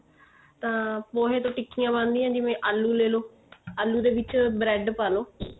ਤਾਂ ਪੋਹੇ ਤੋਂ ਟਿਕੀਆਂ ਬਣਦੀਆਂ ਜਿਵੇਂ ਆਲੂ ਲੈ ਲੋ ਆਲੂ ਦੇ ਵਿੱਚ bread ਪਾ ਲੋ